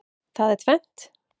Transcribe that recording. Það er tvennt.